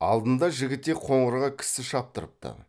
алдында жігітек қоңырға кісі шаптырыпты